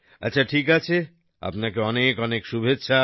আচ্ছা ঠিক আছে আপনাকে অনেক অনেক শুভেচ্ছা